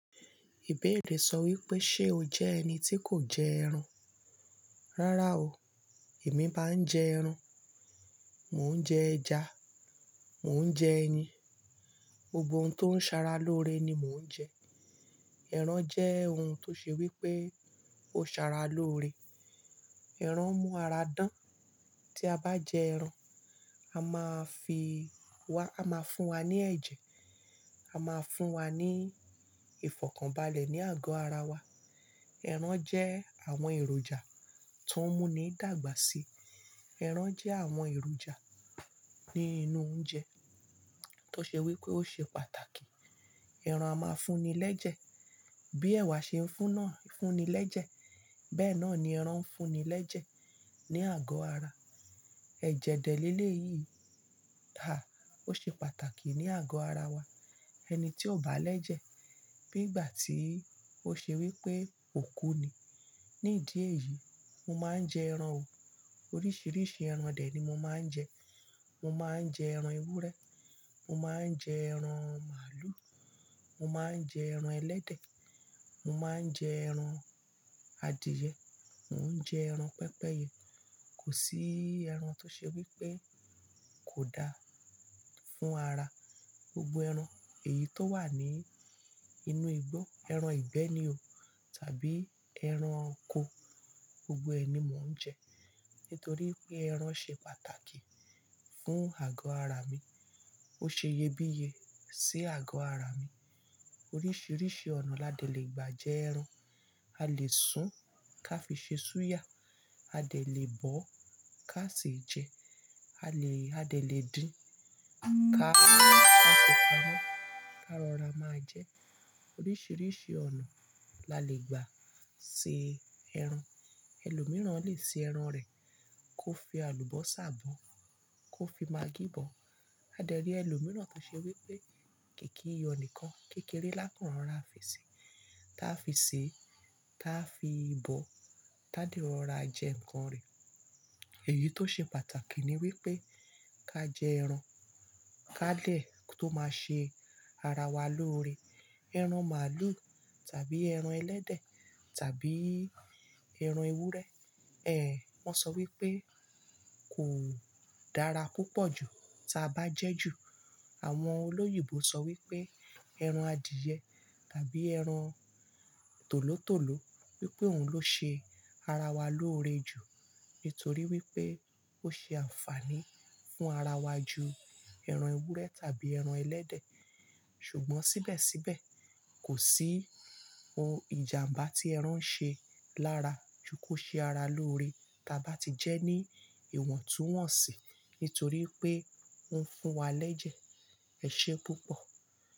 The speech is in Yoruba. Ìbéèrè sọ wípé ṣe o jẹ́ ẹni tí kò jẹ ẹran? Rárá o, èmi máa ń jẹ ẹran, mò ń jẹ ẹja, mò ń jẹ ẹyin, gbogbo ohun tó ń ṣara lóore ni mò ń jẹ. Ẹran jẹ́ ohun tó ṣe wípé ó ṣara lóore. Ẹran mú ara dán. Tí a bá jẹ ẹran, a máa fi wa, a máa fún wa ní ẹ̀jẹ̀, a máa fún wa ní ìfọ̀kànbalẹ̀ ní àgọ́ ara wa. Ẹran jẹ́ àwọn èròjà tó ń mú ni dàgbà sí. Ẹran jẹ́ àwọn èròjà ní inú oúnjẹ tó ṣe wípé ó ṣe pàtàkì. Ẹran a máa fún ni lẹ́jẹ̀ bí ẹ̀wà ṣe ń fún ná, fún ni lẹ́jẹ̀ bẹ́ẹ̀ náà ni ẹran ń fún ni lẹ́jẹ̀ ní àgọ́ ara. Ẹ̀jẹ̀ dẹ̀lé le yìí dá, ó ṣe pàtàkì ní àgọ́ ara wa. Ẹni tí ò bá lẹ́jẹ̀ bí ìgbà tí ó ṣe wípé òkú ni. Ní ìdí èyí, mo máa ń jẹ ẹran o. Oríṣiríṣi ẹran dè ni mo máa ń jẹ. Mo máa ń jẹ ẹran ewúrẹ́, mo máa ń jẹ ẹran màlúù, mo máa ń jẹ ẹran ẹlẹ́dẹ̀, mo máa ń jẹ ẹran adìẹ, mò ń jẹ ẹran pẹpẹ́yẹ. Kò sí ẹran tó ṣe wípé kò da fún ara. Gbogbo ẹran èyí tó wà ní inú igbó, ẹran ìgbẹ́ni o tàbí ẹran oko, gbogbo ẹni mò ń jẹ nítorí pé ẹran ṣe pàtàkì fún àgọ́ ara mi. Ó ṣe iyebíye sí àgọ́ ara mi. Oríṣiríṣi ọ̀nà la lè gbà jẹ ẹran. A lè sun ká fi ṣe súyà, a lè bọ̀ ká sì jẹ, a lè, a lè din ká, ká fi pamọ́ ká rọra máa jẹ. Oríṣiríṣi ọ̀nà la lè gbà se ẹran. Ẹlòmíràn lè se ẹran rẹ̀ kó fi àlùbọ́sà bọ̀, kó fi magí bọ̀. A lè rí ẹlòmíràn tó ṣe wípé kikii iyo nìkan, kékeré lákùrọ̀ rá fi sè, tá fi sè, tá fi bọ̀, tá di rọra á jẹ nǹkan rẹ̀. Èyí tó ṣe pàtàkì ni wípé ká jẹ ẹran, ká dẹ̀ tó máa ṣe ara wa lóore. Ẹran màlúù tàbí ẹran ẹlẹ́dẹ̀ tàbí ẹran ewúrẹ́, ẹ̀ wọ́n sọ wípé kò dára púpọ̀ ju ta bá jẹ́ ju. Àwọn olóyìnbó sọ wípé ẹran adìẹ tàbí ẹran tòlótòló wípé òun ló ṣe ara wa lóore jù nítorí wípé ó ṣe àǹfààní fún ara wa ju ẹran ewúrẹ́ tàbí ẹran ẹlẹ́dẹ̀. Ṣùgbọ́n síbẹ̀síbẹ̀ kò sí ohun ìjàǹbá tí ẹran ń ṣe lára ju kó ṣe ara lóore tá bá ti jẹ́ ní ìwọ̀ntúnwọ̀nsì nítorí pé ó ń fún wa lẹ́jẹ̀. Ẹ̀ṣẹ́ púpọ̀